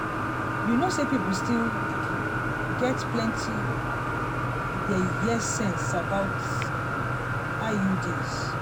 you know say people still um get plenty um yeye sense about um iuds